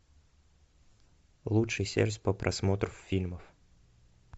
лучший сервис по просмотру фильмов